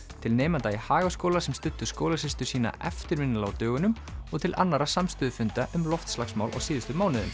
til nemenda í Hagaskóla sem studdu skólasystur sína eftirminnilega á dögunum og til annarra samstöðufunda um loftslagsmál á síðustu mánuðum